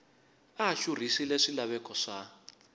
a a xurhisile swilaveko swa